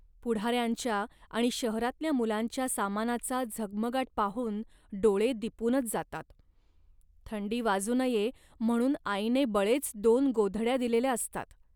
पुढाऱ्यांच्या आणि शहरातल्या मुलांच्या सामानाचा झगमगाट पाहून डोळे दिपूनच जातात. थंडी वाजू नये म्हणून आईने बळेच दोन गोधड्या दिलेल्या असतात